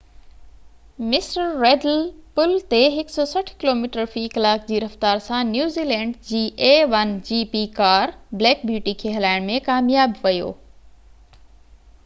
mister Riddle پل تي 160 kilometre في ڪلاڪ جي رفتار سان نيوزيلينڊ جي a1gp ڪار بليڪ بيوٽي کي هلائڻ ۾ ڪامياب ويو